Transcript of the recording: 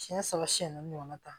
Siyɛn saba siyɛn naani ɲɔgɔnna ta